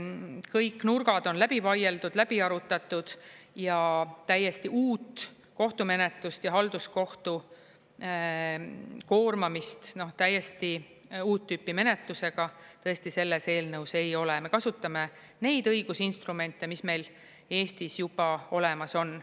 Kõik nurgad on läbi vaieldud, läbi arutatud ja täiesti uut kohtumenetlust ja halduskohtu koormamist täiesti uut tüüpi menetlusega tõesti selles eelnõus ei ole, me kasutame neid õigusinstrumente, mis meil Eestis juba olemas on.